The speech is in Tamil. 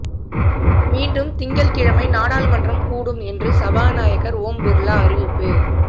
மீண்டும் திங்கள் கிழமை நாடாளுமன்றம் கூடும் என்று சபாநாயகர் ஓம் பிர்லா அறிவிப்பு